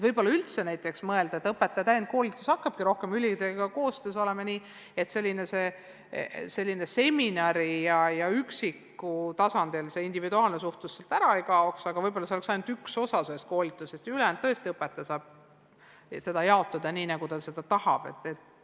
Võib-olla tuleks üldse mõelda, et õpetaja täienduskoolitus hakkabki rohkem ülikoolidega koostöös olema nii, et individuaalne suhtlus sealt ära ei kaoks, aga et see moodustaks sellest koolitusest võib-olla ainult ühe osa ja ülejäänu saaks õpetaja tõesti jaotada nii, nagu ta ise tahab.